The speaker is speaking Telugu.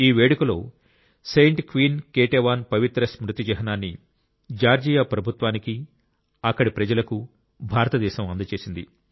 ఈ వేడుకలో సెయింట్ క్వీన్ కేటేవాన్ పవిత్ర స్మృతి చిహ్నాన్ని జార్జియా ప్రభుత్వానికి అక్కడి ప్రజలకు భారతదేశం అందజేసింది